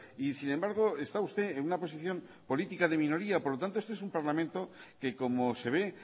y sin embargo está usted en una posición política de minoría por lo tanto este es un parlamento que como se ve